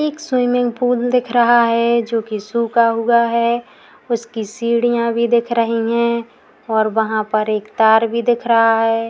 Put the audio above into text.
एक swimming pool दिख रहा है जोकि सूखा हुआ है। उसकी सीढ़ियाँ भी दिख रही हैं और वहाँ पर एक तार भी दिख रहा है।